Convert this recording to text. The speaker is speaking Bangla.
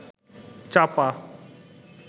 চাপা